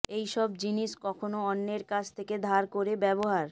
এই সব জিনিস কখনও অন্যের কাছ থেকে ধার করে ব্যবহার